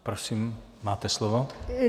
Prosím, máte slovo.